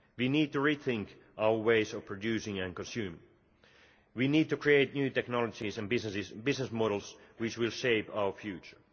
We need to rethink our ways of producing and consuming. We need to create new technologies and business models, which will shape our future.